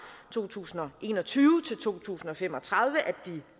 to tusind og en og tyve til to tusind og fem og tredive at de